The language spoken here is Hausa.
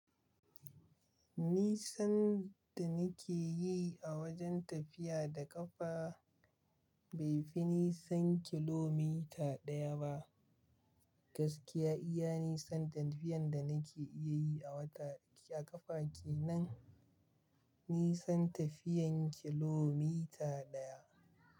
Nisan da nake yi a wajen tafiya da ƙafa bai fi nisan kilomita ɗaya ba. Gaskiya iya nisan tafiyan da nake iya yi a ƙafa kenan nisan tafiyan kilomita ɗaya.